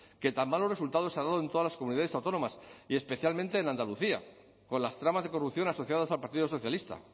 que tan malos resultados ha dado en todas las comunidades autónomas y especialmente en andalucía con las tramas de corrupción asociadas al partido socialista